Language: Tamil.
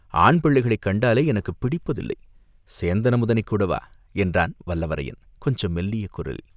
ஆண் பிள்ளைகளைக் கண்டாலே எனக்குப் பிடிப்பத்திலை!" "சேந்தன் அமுதனைக்கூடவா?" என்றான் வல்லவரையன் கொஞ்சம் மெல்லிய குரலில்.